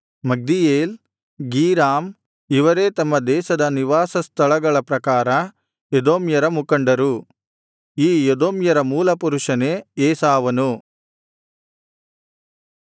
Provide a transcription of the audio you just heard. ಮಗ್ದೀಯೇಲ್ ಗೀರಾಮ್ ಇವರೇ ತಮ್ಮ ದೇಶದ ನಿವಾಸ ಸ್ಥಳಗಳ ಪ್ರಕಾರ ಎದೋಮ್ಯರ ಮುಖಂಡರು ಈ ಎದೋಮ್ಯರ ಮೂಲ ಪುರುಷನೇ ಏಸಾವನು